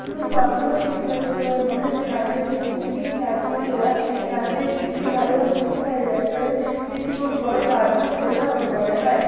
কারখানা দেখতে পাচ্ছি বলে আমার মনে হচ্ছে। কারখানাটি তিন থেকে চার তাল্লা। কারখানাটি কিসের ভালো করে বুঝতে পাড়া যাচ্চে না ।এটি কোনো বড়োকারখানা বলে আমার মনে হয়।